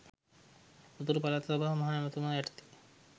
උතුරු පළාත් සභාවේ මහ ඇමතිතුමා යටතේ.